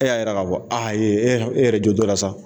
E y'a jira k'a fɔ aa e yɛrɛ jɔ t'o la sa